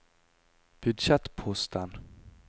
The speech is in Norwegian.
budsjettposten